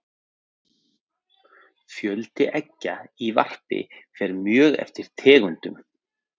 Fjöldi eggja í varpi fer mjög eftir tegundum.